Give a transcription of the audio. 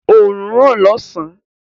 Òrùn ń ràn lósàn-án.